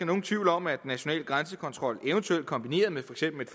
nogen tvivl om at national grænsekontrol eventuelt kombineret med for eksempel et